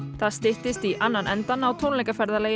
það styttist í annan endann á tónleikaferðalagi